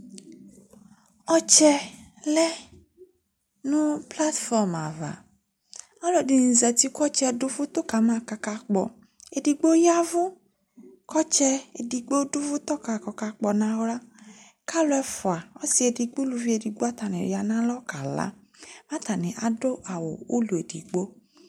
Ɔtsɛ lɛ nu plat fɔm ava ɔlɔdini zati ku ɔtsɛ du uvutɔ kama kakakpɔ edigbo yavu ku ɔtsɛ edigbo du uvutɔ ka ku ɔkakpɔ nu aɣla kalu ɛfua ɔsiedigbo uluvi edigbo atani ya nu alɔ kala atani adu ulɔ edigbo